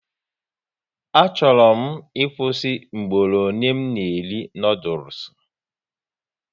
Achọrọ m ịkwụsị mgboro ole m na eri noodules